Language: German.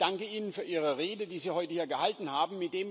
Ich danke Ihnen für Ihre Rede, die Sie heute hier gehalten haben.